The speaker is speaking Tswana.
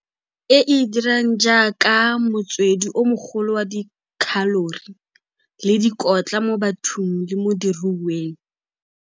E e dirang jaaka motswedi o mogolo wa dikhalori le dikotla mo bathong le mo diruiweng.